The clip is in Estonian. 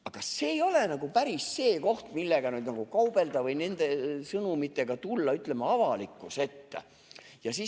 Aga see ei ole nagu päris see koht, millega kaubelda või milliste sõnumitega avalikkuse ette tulla.